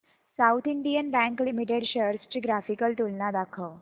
south Indian Bank Limited shares ची graphical तुलना दाखव